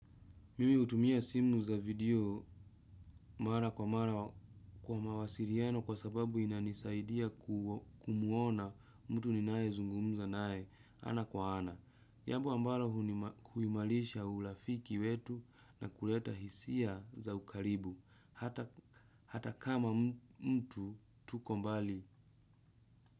Mimi hutumia simu za video mara kwa mara kwa mawasiliano kwa sababu inanisaidia kumuona mtu ninayezungumza naye ana kwa ana. Jambo ambalo huimalisha urafiki wetu na kuleta hisia za ukaribu hata kama mtu tuko mbali.